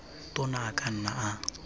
tona a ka nna a